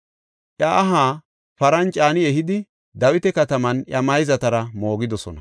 Iya aha paran caani ehidi, Dawita kataman iya mayzatara moogidosona.